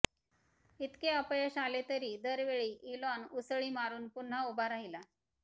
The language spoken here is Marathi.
इतके अपयश आले तरी दर वेळी इलॉन उसळी मारून पुन्हा उभा राहिला